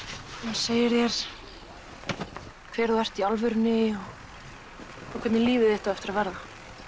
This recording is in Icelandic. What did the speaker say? segir þér hver þú ert í alvörunni og hvernig líf þitt á eftir að verða